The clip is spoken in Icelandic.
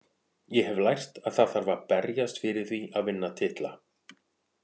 Ég hef lært að það þarf að berjast fyrir því að vinna titla.